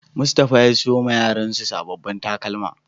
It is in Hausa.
Mustapha ya siyo ma Yaran sa sabobin takalma.